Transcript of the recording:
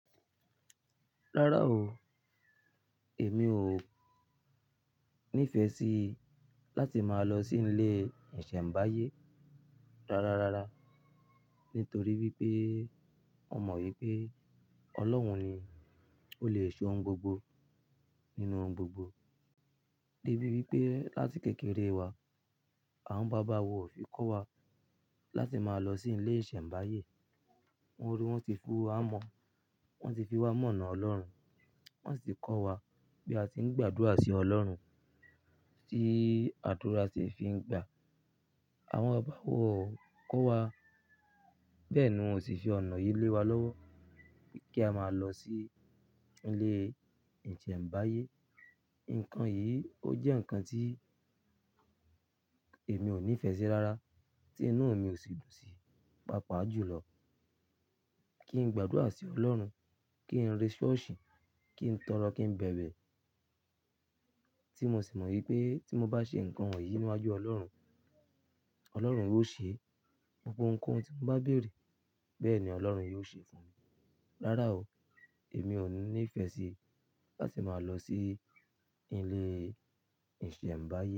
Rárá o, èmi o ní ìfẹ́ sí láti máa lọ sí ilé ìsẹ̀mbáyé. Rárá, rárá. Nítorí wípé ó mọ wípé Ọlọ́run ni ló lè se ohun gbogbo nínú ohun gbogbo. Débi wípé láti kékeré wa, àwọn bàbá wa ò fi kọ́ wa láti máa lọ sí ilé ìsẹ̀mbáyé. Wọ́n ri wọ́n ti fún wa mọ, wọ́n ti fi wa mọ̀nà Ọlọ́run, wọ́n sì ti kọ́ wa bí a ti ń gbàdúrà sí Ọlọ́run, tí àdúrà ṣe fi ń gbà. Àwọn bàbá wa o kọ́ wa, bẹ́ẹ̀ ni wọn o sì fi ọ̀nà yìí lé wa lọ́wọ́ kí a máa lọ sí ilé ìsẹ̀mbáyé. Ǹkan yìí ó jẹ́ ǹkan tí èmi ò ní ìfẹ́ sí rárá tí inú mi ò sì dùn sí. Pápá jùlọ kí ń gbàdúrà sí Ọlọ́run, kíń rẹ́ ṣọ́ọ̀ṣì, kíń tọrọ, kíń bẹ̀bẹ̀. Tí mo sì mọ wípé tí mo bá ṣe ǹkan wonyìí níwájú Ọlọ́run, Ọlọ́run yóò ṣe, gbogbo ohun kohun tí mo bá béèrè, bẹ́ẹ̀ ni Ọlọ́run yóò ṣe fún mi. Rárá o, èmi ò ní ìfẹ́ sí láti máa lọ sí ilé ìsẹ̀mbáyé.